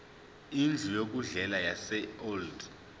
indlu yokudlela yaseold